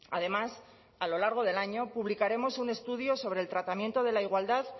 además a lo largo del año publicaremos un estudio sobre el tratamiento de la igualdad